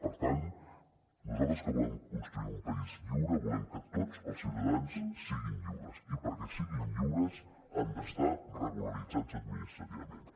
per tant nosaltres que volem construir un país lliure volem que tots els ciutadans siguin lliures i perquè siguin lliures han d’estar regularitzats administrativament